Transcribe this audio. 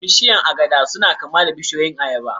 Bishiyun agada suna kama da bishiyun ayaba